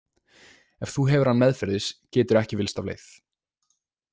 Ef þú hefur hann meðferðis geturðu ekki villst af leið.